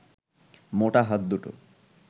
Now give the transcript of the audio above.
মোটা হাত দুটো